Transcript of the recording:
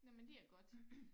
Nåh men det er godt